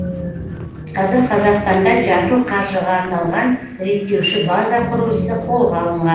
қазір қазақстанда жасыл қаржыға арналған реттеуші база құру ісі қолға алынған